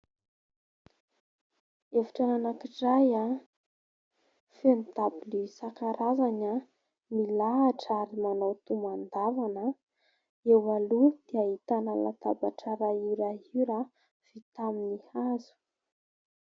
Efitrano anankiray feno dabilio isan-karazany milahatra ary manao tomban-davana. Eo aloha dia ahitana latabatra"rayure rayure" vita amin'ny hazo.